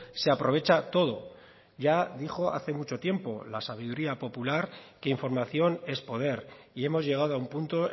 se aprovecha todo ya dijo hace mucho tiempo la sabiduría popular que información es poder y hemos llegado a un punto